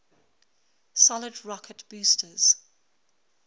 solid rocket boosters